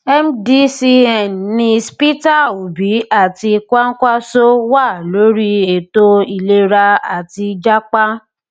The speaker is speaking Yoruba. mdcn nis peter obi àti kwakwanso wà lórí ètò ìlera àti jápa